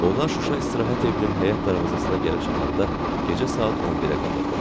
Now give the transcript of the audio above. Onlar Şuşa istirahət evinin həyət darvazasına gəlib çatanda gecə saat 11-ə qalırdı.